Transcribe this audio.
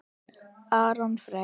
Aron Freyr.